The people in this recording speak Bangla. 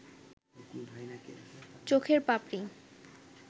চোখের পাপড়ি